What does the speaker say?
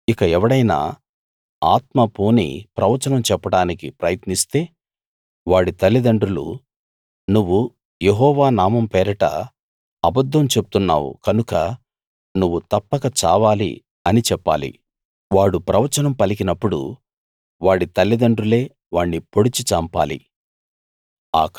ఇక ఎవడైనా ఆత్మ పూని ప్రవచనం చెప్పడానికి ప్రయత్నిస్తే వాడి తలిదండ్రులు నువ్వు యెహోవా నామం పేరట అబద్ధం చెప్తున్నావు కనుక నువ్వు తప్పక చావాలి అని చెప్పాలి వాడు ప్రవచనం పలికినప్పుడు వాడి తల్లిదండ్రులే వాణ్ణి పొడిచి చంపాలి